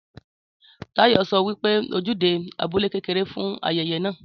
Táyò so wípé ojúde abúlé kéré fún ayẹyẹ náà